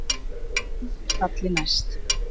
Dramb er falli næst.